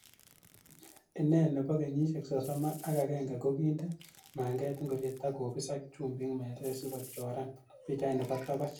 Ine nebo kenyisiek sosom ak agenge, ko kinde manget ingoriet ak kobis ak chumbik meset sikochoran pichait nebo togoch.